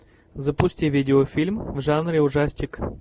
запусти видеофильм в жанре ужастик